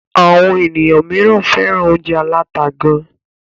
Àwọn ènìyàn míràn fẹ́ràn óúnjẹ aláta gán.